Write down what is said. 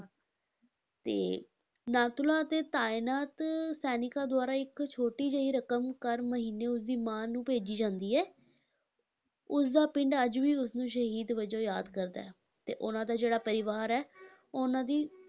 ਤੇ ਨਾਥੂਲਾ ਅਤੇ ਤਾਇਨਾਤ ਸੈਨਿਕਾਂ ਦੁਆਰਾ ਇੱਕ ਛੋਟੀ ਜਿਹੀ ਰਕਮ ਕਰ ਮਹੀਨੇ ਉਸਦੀ ਮਾਂ ਨੂੰ ਭੇਜੀ ਜਾਂਦੀ ਹੈ ਉਸਦਾ ਪਿੰਡ ਅੱਜ ਵੀ ਉਸਨੂੰ ਸ਼ਹੀਦ ਵਜੋਂ ਯਾਦ ਕਰਦਾ ਹੈ ਅਤੇ ਉਹਨਾਂ ਦਾ ਜਿਹੜਾ ਪਰਿਵਾਰ ਹੈ ਉਹਨਾਂ ਦੀ